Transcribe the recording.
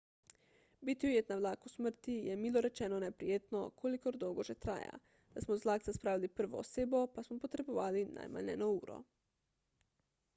biti ujet na vlaku smrti je milo rečeno neprijetno kolikor dolgo že traja da smo z vlakca spravili prvo osebo pa smo potrebovali najmanj eno uro